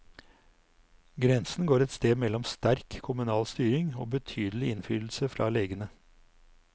Grensen går et sted mellom sterk kommunal styring og betydelig innflytelse fra legene.